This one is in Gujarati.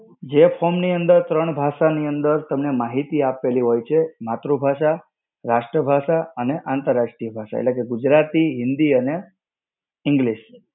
જે form ની અંદર ત્રણ ભાષા ની અંદર તમને માહિતી આપેલી હોય છે. માતૃભાષા, રાષ્ટ્ર ભાષા અને આંતર રાષ્ટ્રીય ભાષા એટલે કે, ગુજરાતી, હિન્દી અને English.